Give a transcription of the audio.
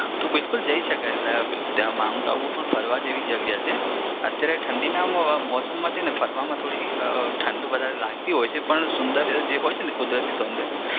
તો બિલકુલ જઈ શકાય. ત્યાં માઉન્ટ આબુ ફરવા જેવી જગ્યા છે અત્યારે ઠંડી ના મોસમમાં છે ને ફરવામાં થોડી ઠંડી વધારે લાગતી હોય છે પણ જે સુંદર હોય છે ને કુદરતી સૌદર્ય